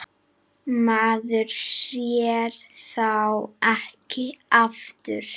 Maður sér þá ekki aftur.